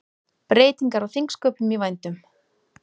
Breytingar á þingsköpum í vændum